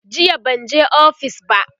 jiya banje ofis ba